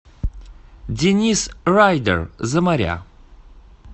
денис райдэр за моря